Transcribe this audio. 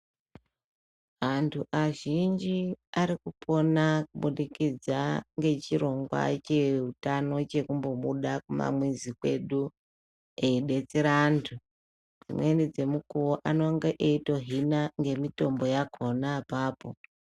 Antu azhinji ari kupona ku budikidza nge chirongwa che hutano chekumbo buda ku mamuzi kwedu eyi detsera antu dzimweni dze mukuwo anonga eyito hina nge mitombo yakona apapo.